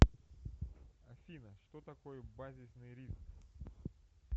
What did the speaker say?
афина что такое базисный риск